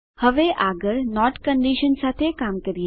હવે આગળ not condition સાથે કામ કરીએ